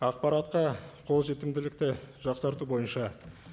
ақпаратқа қолжетімділікті жақсарту бойынша